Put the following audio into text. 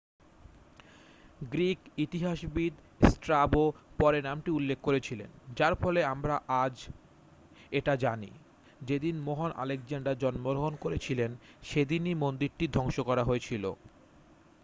Greek ইতিহাসবিদ Strabo পরে নামটি উল্লেখ করেছিলেন যার ফলে আমরা আজ এটা জানি যেদিন মহান আলেকজান্ডার জন্মগ্রহণ করেছিলন সেদিনই মন্দিরটি ধ্বংস করা হয়েছিল